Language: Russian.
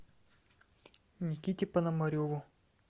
никите пономареву